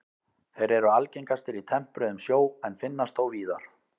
Þeir eru algengastir í tempruðum sjó en finnast þó víðar.